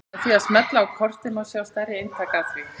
Með því að smella á kortið má sjá stærri eintak af því.